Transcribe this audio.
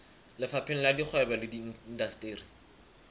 lefapheng la kgwebo le indasteri